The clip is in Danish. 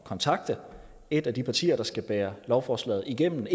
kontakte et af de partier der skal bære lovforslaget igennem